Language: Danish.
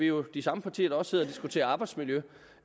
jo de samme partier der også sidder og diskuterer arbejdsmiljø